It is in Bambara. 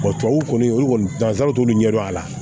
tubabuw kɔni olu kɔni danzara t'olu ɲɛdɔn a la